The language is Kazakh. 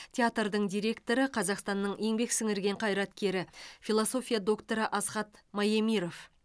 театрдың директоры қазақстанның еңбек сіңірген қайраткері философия докторы асхат маемиров